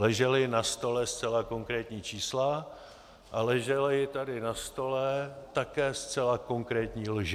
Ležela na stole zcela konkrétní čísla a ležely tady na stole také zcela konkrétní lži.